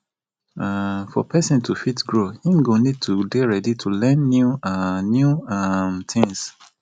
um for person to fit grow im go need to dey ready to learn new um new um things